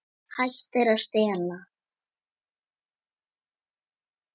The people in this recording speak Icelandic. Hættir að stela.